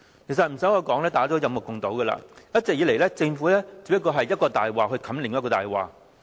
其實無需多說，大家也有目共睹，一直以來，政府只不過是用一個謊言蓋過另一個謊言。